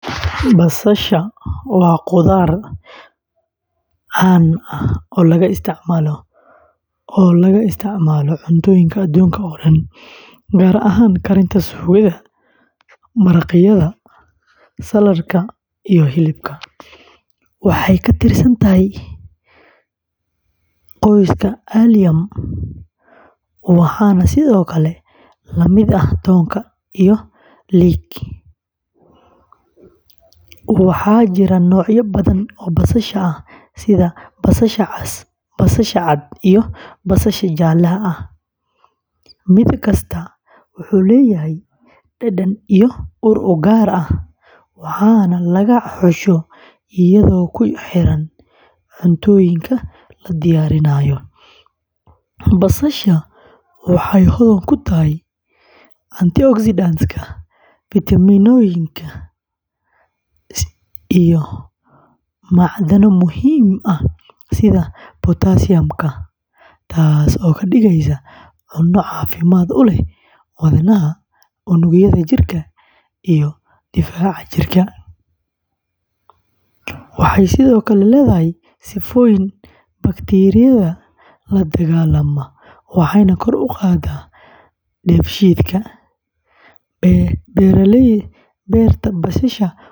Basasha waa khudrad caan ah oo laga isticmaalo cuntooyinka adduunka oo dhan, gaar ahaan karinta suugada, maraqyada, saladhka, iyo hilibka. Waxay ka tirsan tahay qoyska Allium, waxaana sidoo kale la mid ah toonka iyo leek. Waxaa jira noocyo badan oo basasha ah sida basasha cas, basasha cad, iyo basasha jaalle ah. Mid kasta wuxuu leeyahay dhadhan iyo ur u gaar ah, waxaana laga xusho iyadoo ku xiran cuntooyinka la diyaarinayo. Basasha waxay hodan ku tahay antioxidantka, fiitamiinada iyo macdano muhiim ah sida potassium, taasoo ka dhigaysa cunno caafimaad u leh wadnaha, unugyada jirka, iyo difaaca jirka. Waxay sidoo kale leedahay sifooyin bakteeriyada la dagaallama, waxayna kor u qaaddaa dheefshiidka. Beerta basasha.